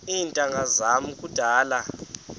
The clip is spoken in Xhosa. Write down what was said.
iintanga zam kudala